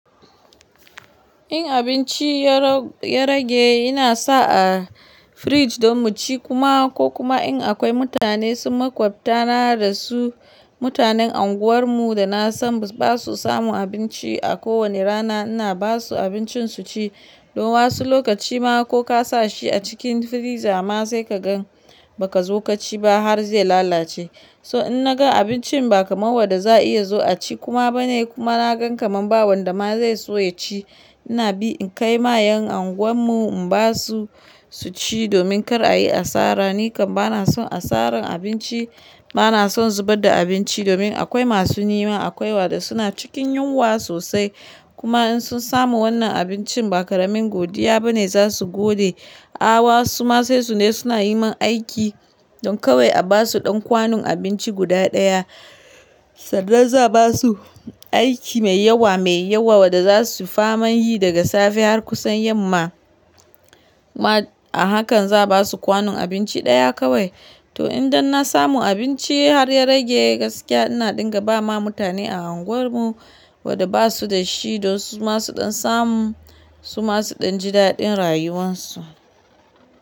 In abinci ya rage, ina sa a firij don mu ci kuma ko kuma in akwai mutane sun makwabtana da su, mutanen anguwar mu da na san ba su samu abinci a kowani rana, ina ba su abincin su ci. Don wasu lokaci ma ko ka sa shi a cikin firiza ma sai ka gan ba ka zo kaci ba har zai lalace. So in na ga abincin ba kamar wadda za a iya zo a ci kuma ba ne kuma na gan kamar ba wanda ma zai so ya ci, ina bi in kai ma yan anguwar mu in ba su, su ci domin kar a yi asara. Ni kam bana son asaran abinci, bana son zubar da abinci domin akwai masu nema, akwai wadda suna cikin yunwa sosai. Kuma in sun samu wannan abincin ba karamin godiya ba ne za su gode. A'a, wasu ma sai su ne suna yi min aiki don kawai a ba su ɗan kwanun abinci guda ɗaya. Sannan za ba su aiki mai yawa mai yawa wadda za su faman yi daga safe har kusan yamma. Ma a hakan za ba su kwanon abinci ɗaya kawai. To in danna samu abinci har ya rage gaskiya, ina dinga ba ma mutane a anguwar mu wadda ba su da shi. Don su ma su ɗan samu, su ma su ɗan ji daɗin rayuwan su.